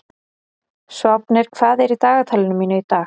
Sváfnir, hvað er í dagatalinu mínu í dag?